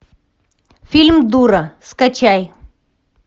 фильм дура скачай